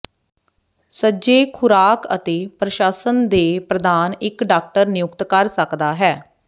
ਸੱਜੇ ਖੁਰਾਕ ਅਤੇ ਪ੍ਰਸ਼ਾਸਨ ਦੇ ਪ੍ਰਦਾਨ ਇੱਕ ਡਾਕਟਰ ਨਿਯੁਕਤ ਕਰ ਸਕਦਾ ਹੈ